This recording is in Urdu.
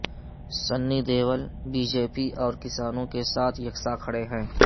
سنی دیول بی جے پی اور کسانوں کے ساتھ یکساں کھڑے ہیں